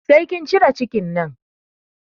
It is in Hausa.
Sai kin cire cikin nan!